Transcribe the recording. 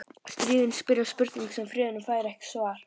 Stríðin spyrja spurninga sem friðurinn fær ekki svarað.